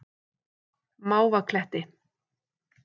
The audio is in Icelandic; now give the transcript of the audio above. Mávakletti